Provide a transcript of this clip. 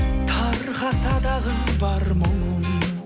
тарқаса дағы бар мұңым